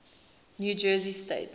new jersey state